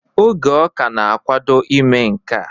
Oge ọ ka na-akwado ime nkea